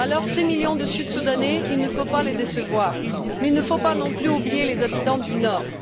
Six millions de Sud Soudanais, il ne faut pas les décevoir mais il ne faut pas non plus oublier les habitants du Nord.